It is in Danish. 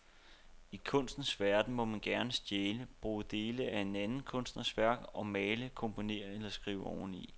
I kunstens verden må man gerne stjæle, bruge dele af en anden kunstners værk og male, komponere eller skrive oveni.